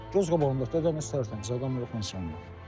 Göz qabağındadır, gəl nə stəfəmsən, adam yoxdur, insan yoxdur.